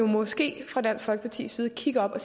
måske fra dansk folkepartis side kigge op og